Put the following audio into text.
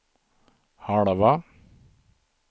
halva